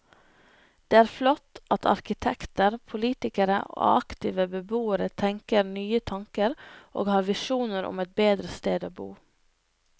Det er flott at arkitekter, politikere og aktive beboere tenker nye tanker og har visjoner om et bedre sted å bo.